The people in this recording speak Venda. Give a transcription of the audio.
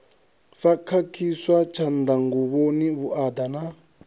sa khakhiswa tshanḓanguvhoni vhuaḓa na